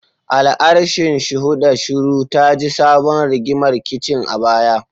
Al'arshin, shuhuda shiru, taji tabon rigimar kicin a baya.